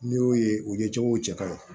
N'i y'o ye u ye cogow cɛ ka ɲi